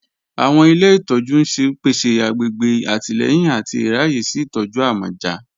Awọn ilẹ̀ ìtọ̀jú n ṣẹ̀ pẹ̀sẹ̀ àgbègbè àtìlẹ̀yìn àti ìráyè sí ìtọ̀jú àmọ̀já